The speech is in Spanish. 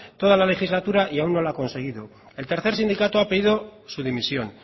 toda la legislatura y aun no lo ha conseguido el tercer sindicato ha pedido su dimisión